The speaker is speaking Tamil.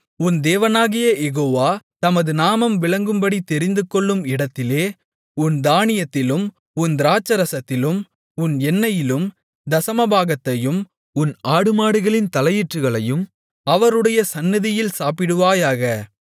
உன் தேவனாகிய யெகோவா தமது நாமம் விளங்கும்படி தெரிந்துகொள்ளும் இடத்திலே உன் தானியத்திலும் உன் திராட்சைரசத்திலும் உன் எண்ணெயிலும் தசமபாகத்தையும் உன் ஆடுமாடுகளின் தலையீற்றுகளையும் அவருடைய சந்நிதியில் சாப்பிடுவாயாக